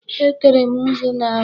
Etere m nzu n'ahụ.